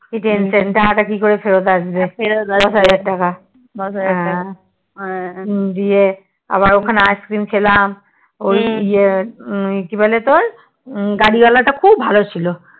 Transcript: কি tension টাকাটা কি করে ফেরত আসবে দশ হাজার টাকা হ্যাঁ গিয়ে ওখানে আবার আট দিন ছিলাম ওই ইয়ে কিবলে তোর গাড়ি ওয়ালা তা খুব ভালো ছিল